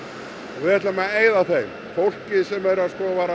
við ætlum að eyða þeim fólkið sem var að